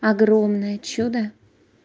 огромное чудо